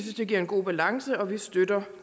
det giver en god balance og vi støtter